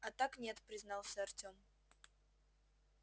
а так нет признался артем